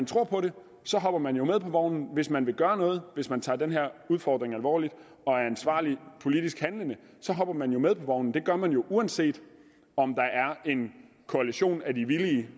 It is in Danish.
tror på det hopper man jo med på vognen hvis man vil gøre noget hvis man tager den her udfordring alvorligt og er ansvarligt politisk handlende hopper man jo med på vognen det gør man uanset om der er en koalition af de villige